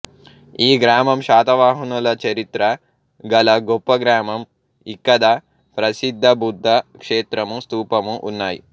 ఈ గ్రామం శాతవహనుల చరిత్ర గల గొప్ప గ్రామం ఇక్కద ప్రసిద్ధ బుద్ద క్షేత్రము స్తూపము ఉన్నాయి